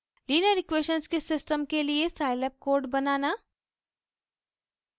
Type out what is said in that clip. linear equations के system के लिए scilab कोड बनाना